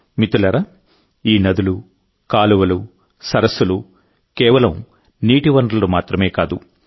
మిత్రులారాఈ నదులు కాలువలు సరస్సులు కేవలం నీటి వనరులు మాత్రమే కాదు